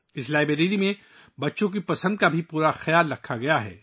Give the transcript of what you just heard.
اس library میں بچوں کی پسند کا بھی پورا خیال رکھا گیا ہے